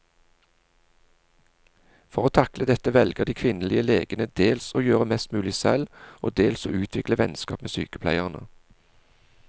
For å takle dette velger de kvinnelige legene dels å gjøre mest mulig selv, og dels å utvikle vennskap med sykepleierne.